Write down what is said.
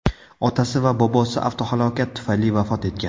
Otasi va bobosi avtohalokat tufayli vafot etgan.